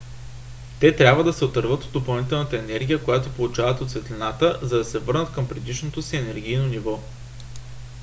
те трябва да се отърват от допълнителната енергия която получават от светлината за да се върнат към предишното си енергийно ниво